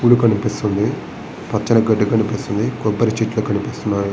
గుడి కనిపిస్తుంది. పచ్చని గడ్డి కనిపిస్తుంది. కొబ్బరి చెట్లు కనిపిస్తున్నాయి.